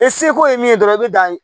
E seko ye min ye dɔrɔn i bɛ dan